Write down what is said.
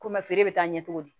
Komi feere bɛ taa ɲɛ cogo di